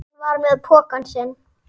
Hún var með pokann sinn.